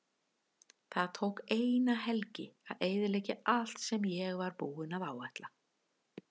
Það tók eina helgi að eyðileggja allt sem ég var búinn að áætla.